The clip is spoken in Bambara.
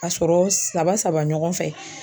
Ka sɔrɔ saba ɲɔgɔn fɛ.